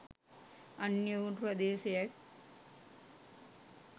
අන්‍ය වූ ප්‍රදේශයෙක්